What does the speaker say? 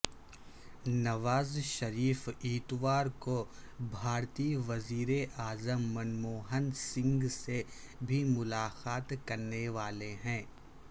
نواز شریف اتوار کو بھارتی وزیراعظم منموہن سنگھ سے بھی ملاقات کرنے والے ہیں